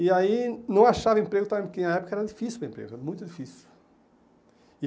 E aí não achava emprego, porque na época era difícil, era muito difícil.